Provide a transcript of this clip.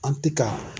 An ti ka